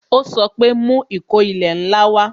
Ó sọ pé "Mú ìkó ilẹ̀ ńlá wa"